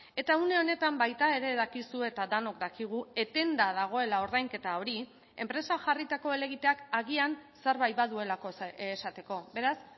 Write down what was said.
eta une honetan baita ere dakizu eta denok dakigu etenda dagoela ordainketa hori enpresa jarritako helegiteak agian zerbait baduelako esateko beraz